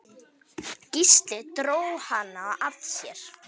Gísli dró hana að sér.